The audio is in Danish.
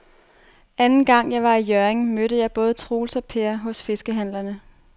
Anden gang jeg var i Hjørring, mødte jeg både Troels og Per hos fiskehandlerne.